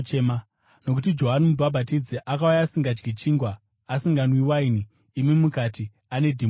Nokuti Johani Mubhabhatidzi akauya asingadyi chingwa uye asinganwi waini, imi mukati, ‘Ane dhimoni.’